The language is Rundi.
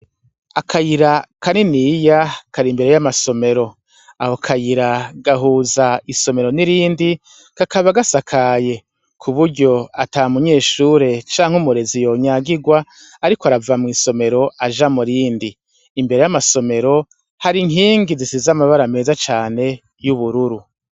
Akayira ka niniya kari imbere y'amasomero aho akayira gahuza isomero n'irindi kakaba gasakaye ku buryo ata munyeshure canke umurezi yonyagirwa, ariko arava mw'isomero aja mu rindi imbere y'amasomero hari inkingi zisiz' amabara meza cane y'ubururu.